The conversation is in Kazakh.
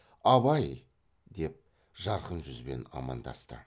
абай деп жарқын жүзбен амандасты